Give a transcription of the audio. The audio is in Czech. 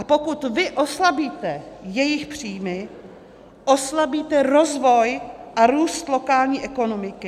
A pokud vy oslabíte jejich příjmy, oslabíte rozvoj a růst lokální ekonomiky.